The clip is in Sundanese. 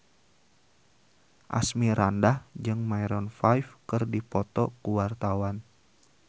Asmirandah jeung Maroon 5 keur dipoto ku wartawan